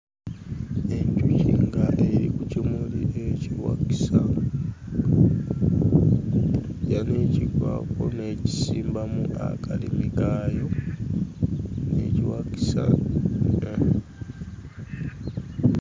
Enjuki ng'eri ku kimuli ekiwakisa. Eyagala okkivaako n'ekisimbamu akalimi kaayo n'ekiwakisa....